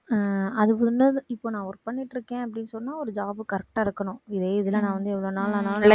அஹ் இப்ப நான் work பண்ணிட்டு இருக்கேன் அப்படின்னு சொன்னா ஒரு job correct ஆ இருக்கணும். இதே இதுல நான் வந்து எவ்வளவு நாள் ஆனாலும்